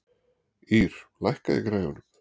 Ýr, lækkaðu í græjunum.